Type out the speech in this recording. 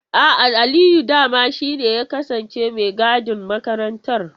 A'a, Aliyu dama shi ne ya kasance mai gadin makarantar.